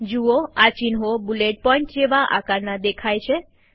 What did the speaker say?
જુઓ આ ચિહ્નો બુલેટ પોઈન્ટ જેવા આકારના દેખાય છે